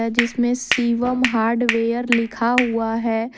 जिसमें शिवम हार्डवेयर लिखा हुआ है।